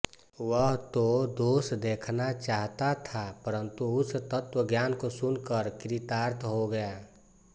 वह तो दोष देखना चाहता था परंतु उस तत्वज्ञान को सुनकर कृतार्थ हो गया